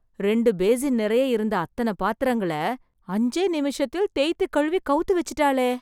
ரெண்டு பேசின் நெறைய இருந்த அத்தன பாத்திரங்களை, அஞ்சே நிமிஷத்தில் தேய்த்து கழுவி, கவுத்து வெச்சிட்டாளே...